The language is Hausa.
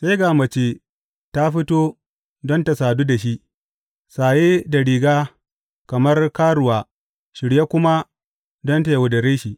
Sai ga mace ta fito don ta sadu da shi, saye da riga kamar karuwa shirye kuma don ta yaudare shi.